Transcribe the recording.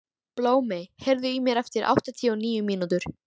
Blómey, heyrðu í mér eftir áttatíu og níu mínútur.